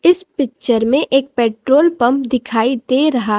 इस पिक्चर में एक पेट्रोल पंप दिखाई दे रहा--